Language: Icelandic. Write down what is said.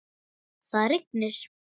Það rignir.